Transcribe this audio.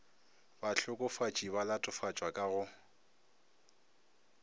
bahlokofatši ba latofatšwa ka go